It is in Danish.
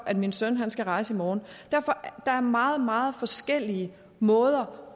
at min søn skal rejse i morgen der er meget meget forskellige måder